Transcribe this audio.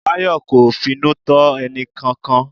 Bayo kò finú tán ẹnìkankan.